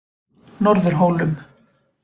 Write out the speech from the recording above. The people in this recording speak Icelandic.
Norðurhólum